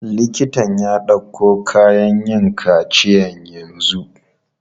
Liktan ya ɗauko kayan yin kaciya yanzu.